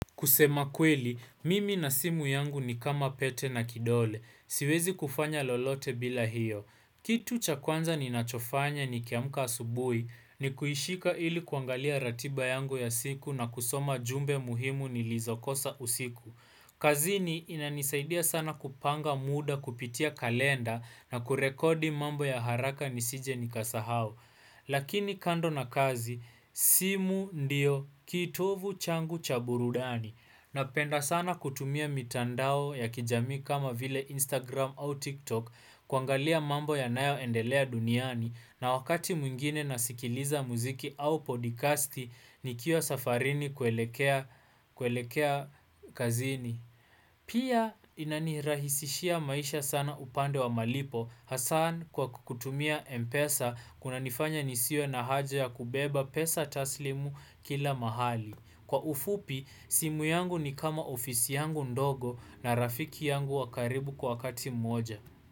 Kusema kweli, mimi na simu yangu ni kama pete na kidole. Siwezi kufanya lolote bila hiyo. Kitu cha kwanza ninachofanya nikiamka asubuhi ni kuishika ili kuangalia ratiba yangu ya siku na kusoma jumbe muhimu nilizokosa usiku. Kazini inanisaidia sana kupanga muda kupitia kalenda na kurekodi mambo ya haraka nisije nikasahau. Lakini kando na kazi, simu ndio kitovu changu cha burudani. Napenda sana kutumia mitandao ya kijamii kama vile Instagram au TikTok kuangalia mambo yanayoendelea duniani na wakati mwingine nasikiliza muziki au podcasti nikiwa safarini kuelekea kazini. Pia inanirahisishia maisha sana upande wa malipo hasa kwa kutumia Mpesa kunanifanya nisiwe na haja ya kubeba pesa taslimu kila mahali. Kwa ufupi, simu yangu ni kama ofisi yangu ndogo na rafiki yangu wa karibu kwa wakati mmoja.